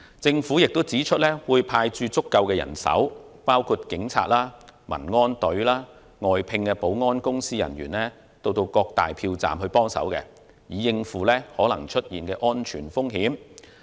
政府亦表示會派駐足夠人手，包括警察、民安隊和外聘保安公司人員到各票站協助，以應付可能出現的安全風險。